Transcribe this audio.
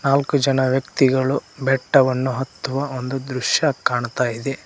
ನಾಲ್ಕು ಜನ ವ್ಯಕ್ತಿಗಳು ಬೆಟ್ಟವನ್ನು ಹತ್ತುವ ಒಂದು ದೃಶ್ಯ ಕಾಣತ್ತಾ ಇದೆ.